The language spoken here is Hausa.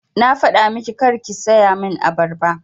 Na faɗa miki karki saya min abarba!